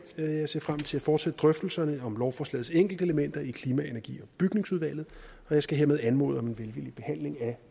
og jeg ser frem til at fortsætte drøftelserne om lovforslagets enkelte elementer i klima energi og bygningsudvalget og jeg skal hermed anmode om en velvillig behandling af